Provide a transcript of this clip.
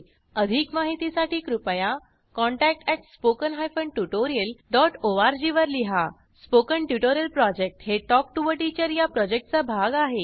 अधिक माहितीसाठी कृपया contact at spoken hyphen tutorial dot org वर लिहा स्पोकन ट्युटोरियल प्रॉजेक्ट हे टॉक टू टीचर या प्रॉजेक्टचा भाग आहे